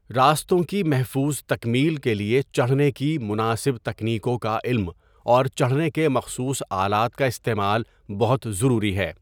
راستوں کی محفوظ تکمیل کے لیے چڑھنے کی مناسب تکنیکوں کا علم اور چڑھنے کے مخصوص آلات کا استعمال بہت ضروری ہے۔